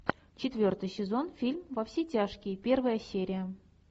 четвертый сезон фильм во все тяжкие первая серия